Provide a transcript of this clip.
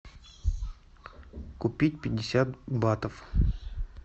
купить пятьдесят батов